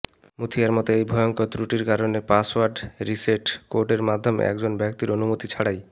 মুথিয়ার মতে এই ভয়ঙ্কর ত্রুটির কারণে পাসওয়ার্ড রিসেট কোডের মাধ্যমে একজন ব্যক্তির অনুমতি ছাড়াই